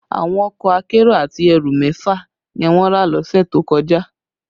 Àwọn ọkọ akérò àti ẹrù mẹ́fà ni wọ́n rà lọ́sẹ̀ tó kọjá